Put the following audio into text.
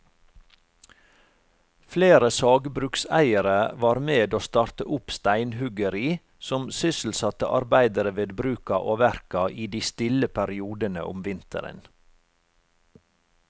Flere sagbrukseiere var med å starte opp steinhuggeri som sysselsatte arbeidere ved bruka og verka i de stille periodene om vinteren.